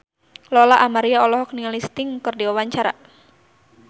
Lola Amaria olohok ningali Sting keur diwawancara